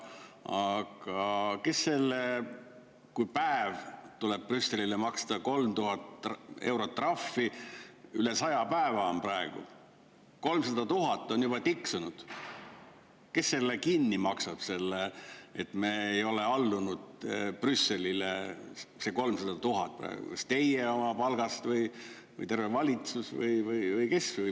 Aga kes selle, kui päev tuleb Brüsselile maksta 3000 eurot trahvi, üle saja päeva on praegu, 300 000 on tiksunud, kes selle kinni maksab, et me ei ole allunud Brüsselile, selle 300 000 praegu – kas teie oma palgast või terve valitsus või kes?